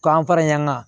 K'an pɛrɛnna